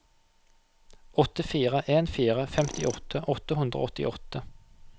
åtte fire en fire femtiåtte åtte hundre og åttiåtte